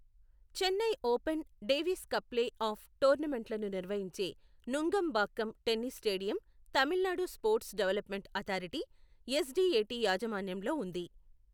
Chennai Open, Davis Cup play off టోర్నమెంట్లను నిర్వహించే Nungambakkam tennis stadium Tamil Nadu sports development authority, SDAT యాజమాన్యంలో ఉంది.